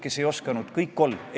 Eestis on sündinud täiesti uus sugupõlv.